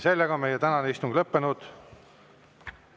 Meie tänane istung on lõppenud.